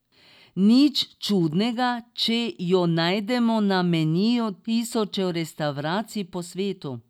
Nič čudnega, če jo najdemo na meniju tisočev restavracij po svetu.